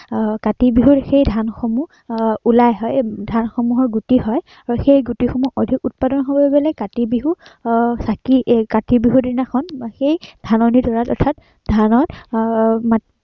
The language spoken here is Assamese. আহ কাতি বিহুত সেই ধানসমূহ আহ ওলাই আহ ধানসমূহৰ গুটি হয় আহ সেই ধানসমূহ অধিক উৎপাদন কৰিবলে আহ কাতি বিহু আহ চাকি আহ কাতি বিহুৰ দিনাখন সেই ধাননিডৰাত অৰ্থাৎ ধানত আহ